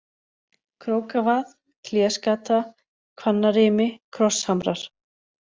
Krókavað, Hlésgata, Hvannarimi, Krosshamrar